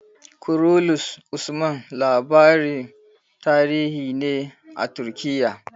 "Kurulus Usman" labarin tarihi ne a Turkiya.